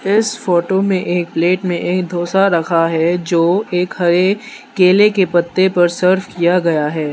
इस फोटो में एक प्लेट मे एक डोसा रखा है जो एक हरे केले के पत्ते पर सर्व किया गया है।